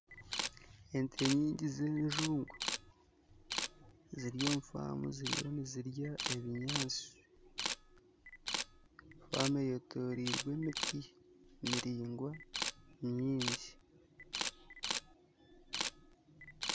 Ente nyingi z'enjungu ziri omu faamu ziriyo nirya ebinyaatsi, faamu eyetooreirwe emiti miraingwa mingi